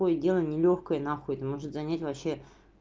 ой дело нелёгкое на хуй это может занять вообще